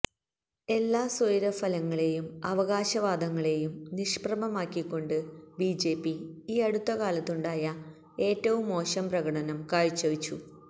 എല്ലാ സര്വെഫലങ്ങളെയും അവകാശവാദങ്ങളെയും നിഷ്പ്രഭമാക്കിക്കൊണ്ട് ബിജെപി ഈ അടുത്തകാലത്തുണ്ടായ ഏറ്റവും മോശം പ്രകടനം കാഴ്ചവച്ചു